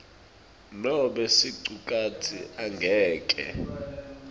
nobe sicukatsi angeke